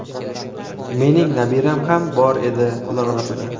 Mening nabiram ham bor edi ular orasida.